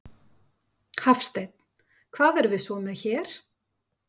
Hafsteinn: Hvað erum við svo með hér?